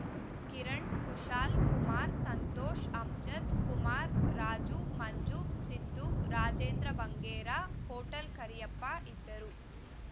ಕಿರಣ Kushal Kumara Santosha Amjad Kumara Raju Manju Siddu Rajendra Bangera hotel Kariyappa ಇದ್ದರು